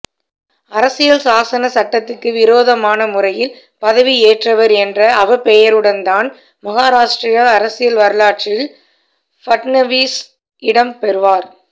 அரசியல்சாசன சட்டத்துக்கு விரோதமான முறையில் பதவியேற்றவா் என்ற அவப்பெயருடன்தான் மகாராஷ்டிர அரசியல் வரலாற்றில் ஃபட்னவீஸ் இடம் பெறுவாா்